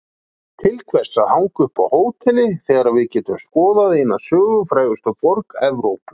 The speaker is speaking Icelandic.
Til hvers að hanga upp á hóteli þegar við getum skoðað eina sögufrægustu borg Evrópu?